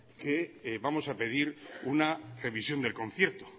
que vamos a pedir una revisión del concierto